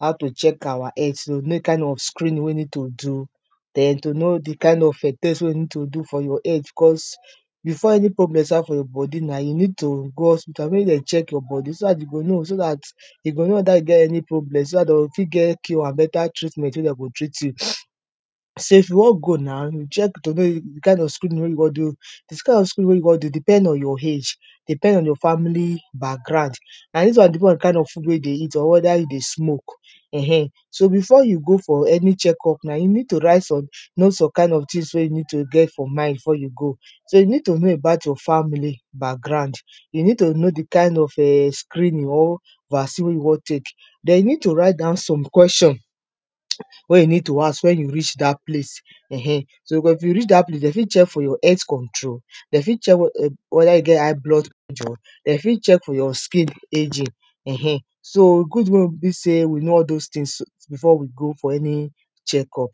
how to check our health, to know di kain of screening wey you need to do, den to know di kain of test wey you need to do for your health becos before any problem start for your body na you need to go hospital wey dem check your body so dat you go know, you go know weda you get any problem so dat dem go fit get cure and better treatment wey dem go treat you. So if you wan go now to check di kain of screening wey you wan do, dis kain of screening wey you wan do depend on your age, depend on your family background and e depend on d kind of food wey you dey eat, weda you dey smoke [urn], so before you go for any check up now you need to write some, know some kain of tins wey you need to get for mind before you go. So you need to know about your family background, you need to know di kain of [urn] screening or vacin wey you wan take, den you need to write down some question wey you need to ask wen you reach dat place [urn], so wen you reach dat place dem fit check for your health control, den fit check weda you get high blood pressure, dem fit check for your scale ageing [urn] so e good wey be sey we know all dose tins before we go fo any check up.